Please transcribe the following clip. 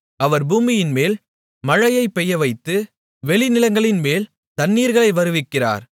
அவர் பூமியின்மேல் மழையை பெய்யவைத்து வெளிநிலங்களின்மேல் தண்ணீர்களை வருவிக்கிறார்